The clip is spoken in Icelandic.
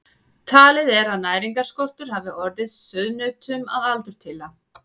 Talið er að næringarskortur hafi orðið sauðnautunum að aldurtila.